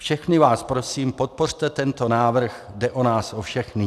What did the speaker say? Všechny vás prosím, podpořte tento návrh, jde o nás o všechny.